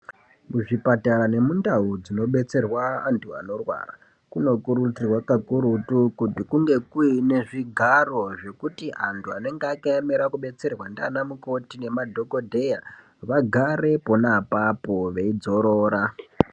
Muzvipatara nemundau dzinobetserwa antu anorwara kuno kurudzirwa kakurutu kuti kunge kuine zvigaro zvekuti antu anenge akaemera kubetserwa ndiana mukhoti nemadhokodheya vagare pona apapo veidzorora.